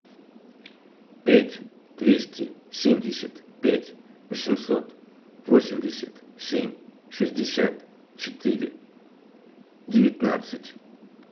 пять двести семьдесят пять восемьсот восемьдесят семь шестьдесят четыре девятнадцать